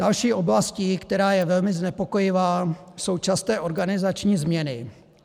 Další oblastí, která je velmi znepokojivá, jsou časté organizační změny.